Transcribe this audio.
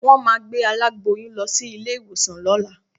Wọ́n máa gbé aláboyún lọ sí ilé-ìwòsàn lọ́la